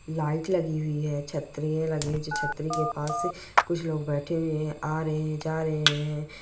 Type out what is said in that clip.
लाइटें लगी हुई है छतरियां लगी है जो छतरी के पास कुछ लोग बैठे हुए आ रहे हैं जा रहे हैं--